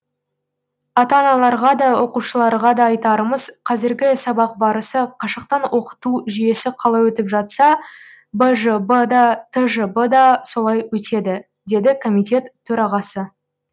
ата аналарға да оқушыларға да айтарымыз қазіргі сабақ барысы қашықтан оқыту жүйесі қалай өтіп жатса бжб да тжб да солай өтеді деді комитет төрағасы